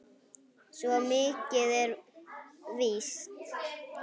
Svo mikið er víst